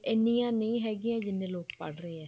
ਇੰਨੀਆਂ ਨਹੀਂ ਹੈਗੀਆਂ ਜਿੰਨੇ ਲੋਕ ਪੜ੍ਹ ਰਹੇ ਏ